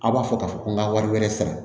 A b'a fɔ k'a fɔ ko n ka wari wɛrɛ sara